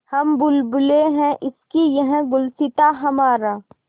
हम बुलबुलें हैं इसकी यह गुलसिताँ हमारा